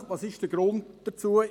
Was ist der Grund dafür?